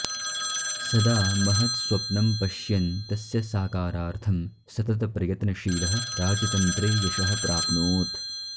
सदा महत्स्वप्नं पश्यन् तस्य साकारार्थं सततप्रयत्नशीलः राजतन्त्रे यशः प्राप्नोत्